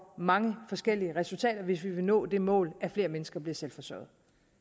mange forskellige resultater hvis vi vil nå det mål at flere mennesker bliver selvforsørgende